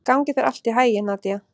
Gangi þér allt í haginn, Nadia.